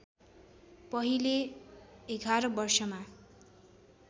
पहिले ११ वर्षमा